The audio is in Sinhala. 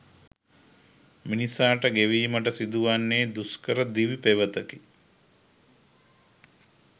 මිනිසාට ගෙවීමට සිදුවන්නේ දුෂ්කර දිවි පෙවෙතකි